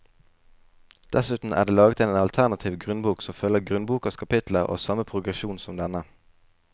Dessuten er det laget en alternativ grunnbok som følger grunnbokas kapitler og har samme progresjon som denne.